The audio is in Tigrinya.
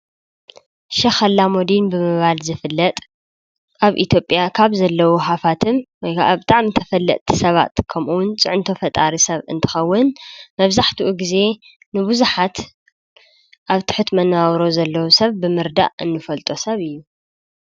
ሸክ ኣላሙዲን ብምባል ዝፍለጥ ኣብ ኢትዮጵያ ካብ ዘለዉ ሃፍትም ወይ ከዓ ብጣዕሚ ተፈለጥቲ ሰባትን ከምኡ እውን ፅዕንቶ ፈጣሪ ሰብ እንትኸውን መብዛሕትኡ ግዜ ንቡዙሓት ኣብ ትሑት መነባብሮ ንዘለዉ ሰብ ብምርዳእ እንፈልጦ ሰብ እዩ።